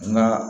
Nka